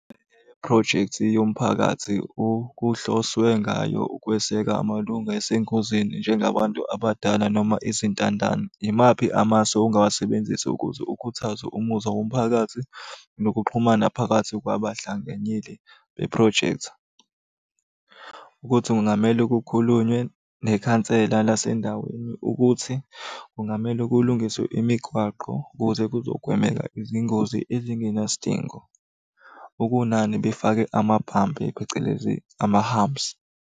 Phrojekthi yomphakathi okuhloswe ngayo ukweseka amalunga esengozini njengabantu abadala noma izintandane. Imaphi amasu ongawasebenzisa ukuze ukhuthaze umuzwa womphakathi nokuxhumana phakathi kwabahlanganyeli bephrojekthi? Ukuthi kungamele kukhulunywe nekhansela lasendaweni ukuthi kungamele kulungiswe imigwaqo ukuze kuzogwemeka izingozi ezingenasidingo. Okunani befake amaphampu, phecelezi ama-humps.